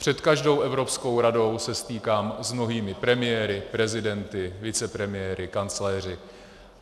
Před každou Evropskou radou se stýkám s mnohými premiéry, prezidenty, vicepremiéry, kancléři.